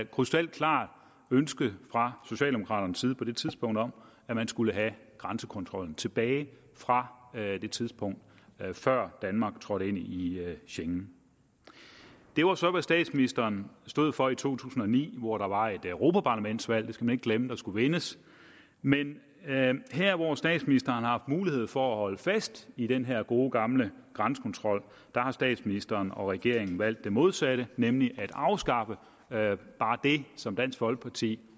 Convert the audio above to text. krystalklart ønske fra socialdemokraternes side på det tidspunkt om at man skulle have grænsekontrollen tilbage fra det tidspunkt før danmark trådte ind i i schengen det var så hvad statsministeren stod for i to tusind og ni hvor der var et europaparlamentsvalg det skal man ikke glemme der skulle vindes men her hvor statsministeren har haft mulighed for at holde fast i den her gode gamle grænsekontrol har statsministeren og regeringen valgt det modsatte nemlig at afskaffe det som dansk folkeparti